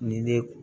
Ni ne